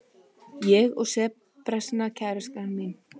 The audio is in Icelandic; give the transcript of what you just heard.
Ég og serbneska kærastan mín.